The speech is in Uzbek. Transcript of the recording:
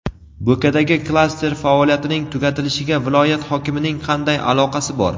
Bo‘kadagi klaster faoliyatining tugatilishiga viloyat hokimining qanday aloqasi bor?.